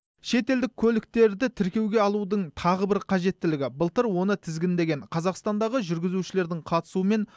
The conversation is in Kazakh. шетелдік көліктерді тіркеуге алудың тағы бір қажеттілігі былтыр оны тізгіндеген қазақстандағы жүргізушілердің қатысуымен